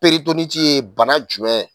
ye bana jumɛn?